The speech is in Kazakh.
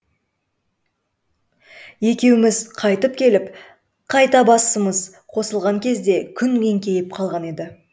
екеуіміз қайтып келіп қайта басымыз қосылған кезде күн еңкейіп қалған еді